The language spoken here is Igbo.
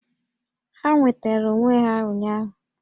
Ha nwetara onwe ha ụnyaahụ